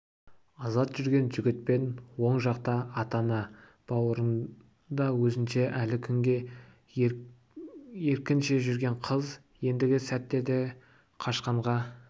азат жүрген жігіт пен оң жақта ата-ана бауырында өзінше әлі күнге еркінше жүрген қыз ендігі сәттерде қашқынға